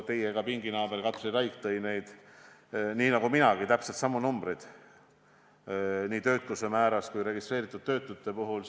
Teie pinginaaber Katri Raik tõi esile, nii nagu minagi, täpselt samad numbrid nii töötuse määra kui ka registreeritud töötute kohta.